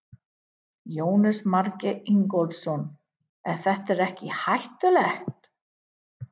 Jónas Margeir Ingólfsson: Er þetta ekkert hættulegt?